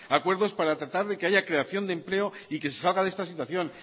acuerdos para tratar que haya creación de empleo y que se salga de esta situación